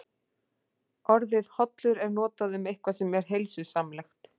Orðið hollur er notað um eitthvað sem er heilsusamlegt.